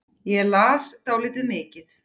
Ég las dálítið mikið.